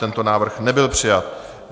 Tento návrh nebyl přijat.